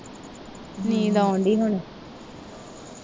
ਨੀਂਦ ਆਉਂਦੀ ਹੁਣ